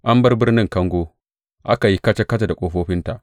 An bar birnin kango, aka yi kaca kaca da ƙofofinta.